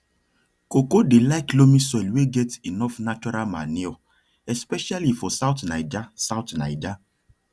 cocoa dey like loamy soil wey get enough natural manure especially for south nija south nija